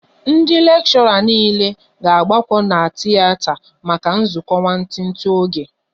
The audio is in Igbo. Ndị lekshora niile ga agbako n'tiyeta maka nzukọ nwantiti oge